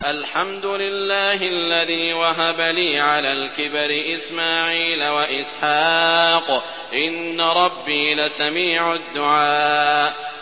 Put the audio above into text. الْحَمْدُ لِلَّهِ الَّذِي وَهَبَ لِي عَلَى الْكِبَرِ إِسْمَاعِيلَ وَإِسْحَاقَ ۚ إِنَّ رَبِّي لَسَمِيعُ الدُّعَاءِ